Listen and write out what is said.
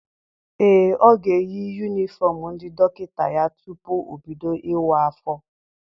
Ee, ọ ga-eyi yunifọm ndị dọkịta ya tupu o bido ịwa afọ.